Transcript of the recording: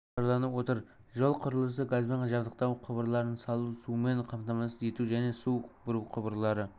жоспарланып отыр жол құрылысы газбен жабдықтау құбырларын салу сумен қамтамасыз ету және су бұру құбырлары